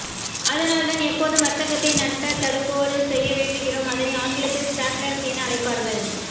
அதனால் தான் எப்போதும் வர்த்தகத்தை நட்டதடுப்போடு செய்ய வேண்டுகிறோம் அதனை ஆங்கிலத்தில் ஸ்டாப்லாஸ் என அழைப்பார்கள்